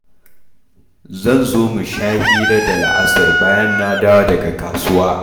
Zan zo mu sha hira da la'asar bayan na dawo daga kasuwa.